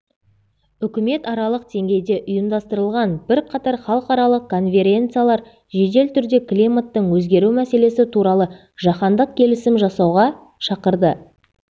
үкіметаралық деңгейде ұйымдастырылған бірқатар халықараралық конференциялар жедел түрде климаттың өзгеру мәселесі туралы жаһандық келісім жасауға шақырды